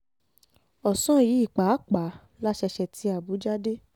ọ̀sán yìí pàápàá la ṣẹ̀ṣẹ̀ ti àbújá dé